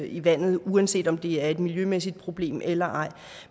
i vandet uanset om det er et miljømæssigt problem eller ej